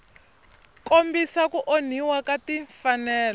kombisa ku onhiwa ka timfanelo